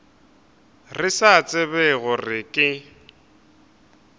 re sa tsebe gore ke